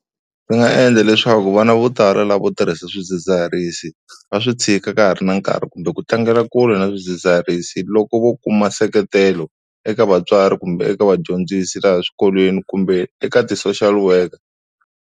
Ndzi nga endla leswaku vana vo tala lava vo tirhisa swidzidziharisi va swi tshika ka ha ri na nkarhi kumbe ku tlangela kule na swidzidziharisi loko vo kuma seketelo eka vatswari kumbe eka vadyondzisi laha eswikolweni kumbe eka ti-social worker.